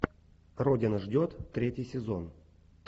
родина ждет третий сезон